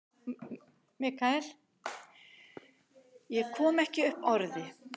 Ég kom ekki upp orði.